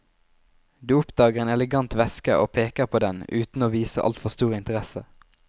Du oppdager en elegant veske og peker på den uten å vise altfor stor interesse.